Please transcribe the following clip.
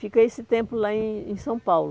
Fica esse tempo lá em em São Paulo.